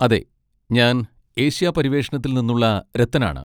അതെ. ഞാൻ ഏഷ്യാ പര്യവേഷണത്തിൽ നിന്നുള്ള രത്തനാണ്.